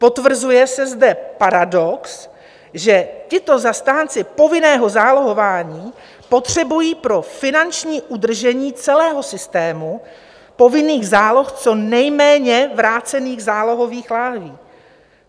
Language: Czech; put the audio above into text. Potvrzuje se zde paradox, že tito zastánci povinného zálohování potřebují pro finanční udržení celého systému povinných záloh co nejméně vrácených zálohových láhví.